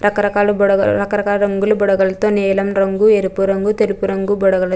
రక రకాల బుడగ-రక రకాల రంగుల బుడగలతో నీలం రంగు ఎరుపు రంగు తెలుపు రంగు బుడగలు--